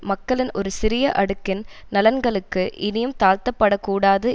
மக்களின் ஒரு சிறிய அடுக்கின் நலன்களுக்கு இனியும் தாழ்த்தப்படக்கூடாது